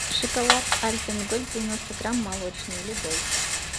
шоколад альпен гольд девяносто грамм молочный любой